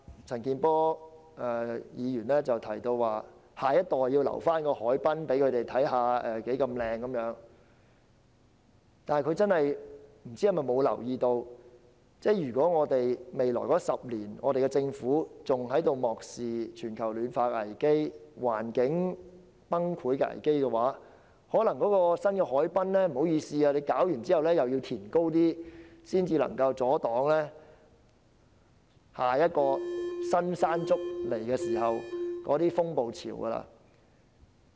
陳健波議員提到，要讓下一代看看我們的海濱有多漂亮，但不知道他有否留意，如果政府在未來10年依然繼續漠視全球暖化和環境日趨惡劣的危機，可能屆時新落成的海濱長廊還要再加高，這樣才能阻擋日後"新山竹"所帶來的風暴潮。